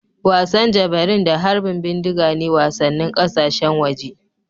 Wasan Javelin da harbin bindiga ne wasannin ƙasashen waje